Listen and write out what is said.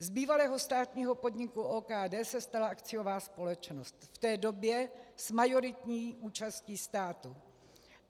Z bývalého státního podniku OKD se stala akciová společnost, v té době s majoritní účastí státu.